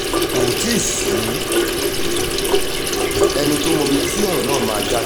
kò tí ì sẹ́ni tó mọ ibi tí ọ̀rọ̀ náà máa já sí